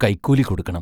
കൈക്കൂലി കൊടുക്കണം.